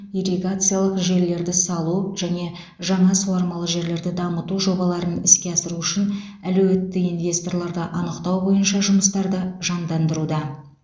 ирригациялық желілерді салу және жаңа суармалы жерлерді дамыту жобаларын іске асыру үшін әлеуетті инвесторларды анықтау бойынша жұмыстарды жандандыруда